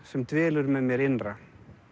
sem dvelur með mér innra